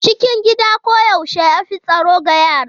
Cikin gida koyaushe ya fi tsaro ga yara.